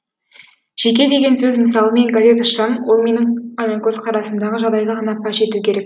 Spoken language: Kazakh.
жеке деген сөз мысалы мен газет ашсам ол менің ғана көзқарасымдағы жағдайды ғана паш ету керек